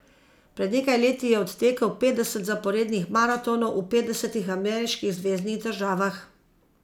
Pred nekaj leti je odtekel petdeset zaporednih maratonov v petdesetih ameriških zveznih državah ...